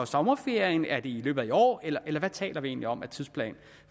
sommerferien er det i løbet af i år eller hvad taler vi egentlig om af tidsplan